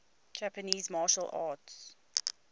japanese martial arts